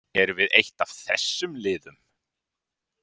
Erum við eitt af þessum liðum?